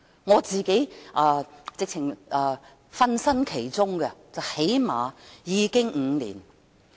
我自己也曾參與其中，最少已有5年。